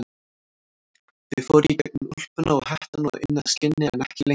Þau fóru í gegnum úlpuna og hettuna og inn að skinni en ekki lengra.